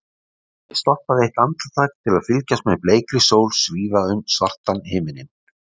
Ég stoppaði eitt andartak til að fylgjast með bleikri sól svífa um svartan himininn.